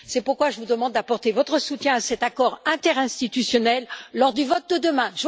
C'est pourquoi je vous demande d'apporter votre soutien à cet accord interinstitutionnel lors du vote de demain.